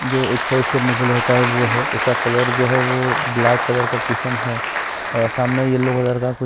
जो एक्सरसाइज करने के लिए होता है वो है जिसका कलर ब्लैक का कुशन है सामने यल्लो कलर का कुशन --